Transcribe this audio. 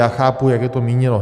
Já chápu, jak je to míněno.